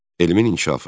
Elmin inkişafı.